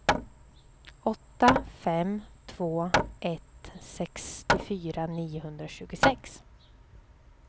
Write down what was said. åtta fem två ett sextiofyra niohundratjugosex